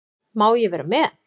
Má ég vera með?